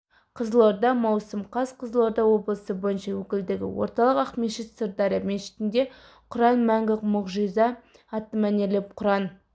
қызылорда маусым қаз қызылорда облысы бойынша өкілдігі орталық ақмешіт-сырдария мешітінде құран мәңгі мұғжиза атты мәнерлеп құран